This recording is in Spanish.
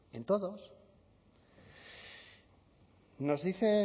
en todos nos dice